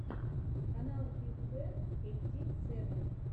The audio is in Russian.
канал биг бен эйти сэвэн